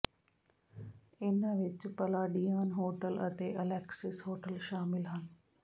ਇਨ੍ਹਾਂ ਵਿੱਚ Palladian hotel ਅਤੇ ਅਲੈਕਸਿਸ ਹੋਟਲ ਸ਼ਾਮਲ ਹਨ